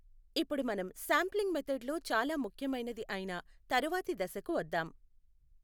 ఇప్పుడు మనం sampling method లో చాలా ముఖ్యమైనది అయిన తరువాతి దశకు వద్దాం.